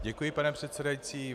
Děkuji, pane předsedající.